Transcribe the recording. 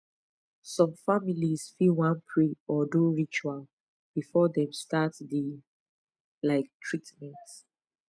some families fit wan pray or do ritual before dem start the um treatment